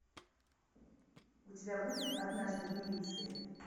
у тебя будет однажды в милиции